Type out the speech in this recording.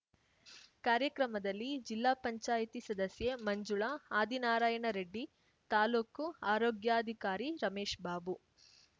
ಕಾರ್ಯಕ್ರಮದಲ್ಲಿ ಜಿಲ್ಲಾಪಂಚಾಯತಿಸದಸ್ಯೆ ಮಂಜುಳಾ ಆದಿನಾರಾಯಣರೆಡ್ಡಿ ತಾಲ್ಲೂಕು ಆರೋಗ್ಯಾಧಿಕಾರಿ ರಮೇಶ್‍ಬಾಬು